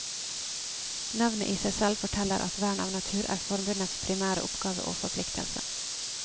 Navnet i seg selv forteller at vern av natur er forbundets primære oppgave og forpliktelse.